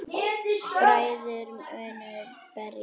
Bræður munu berjast